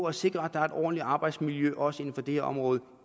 at sikre at der er et ordentligt arbejdsmiljø også inden for det her område